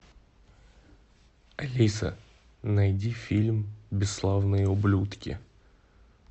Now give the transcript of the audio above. алиса найди фильм бесславные ублюдки